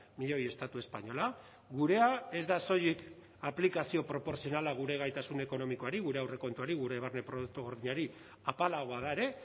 milioi estatu espainola gurea ez da soilik aplikazio proportzionala gure gaitasun ekonomikoari gure aurrekontuari gure barne produktu gordinari apalagoa da ere